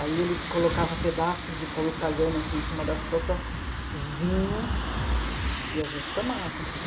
Aí ele colocava pedaços de pão italiano assim em cima da sopa, vinho, e a gente tomava.